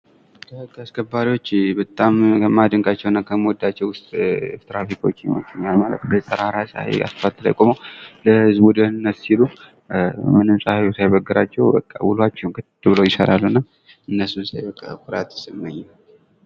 የህግ አስከባሪዎች በጣም ከማደንቃቸው እና ከምወዳቸው ውስጥ ትራፊኮች በጠራራ ፀሐይ አስፋልት ላይ ቆመው ለህዝቡ ደህንነት ሲሉ ምንም ፀሐይ ሳይበግራቸው በቃ ውሏቸውን ቀጥ ብለው ይሰራሉና እነሱን ሳይ በጣም ኩራት ይሰማኛል።